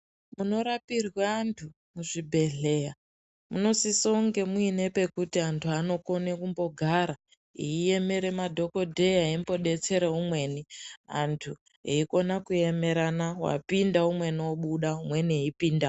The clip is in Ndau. Munorapirwe antu muzvibhedhleya munosise nge muene pekuti antu anokone kumbogara eiemere madhokodheya eimbodetsere umweni antu eikona kuemerana wapinda umweni wobuda umweni eipinda .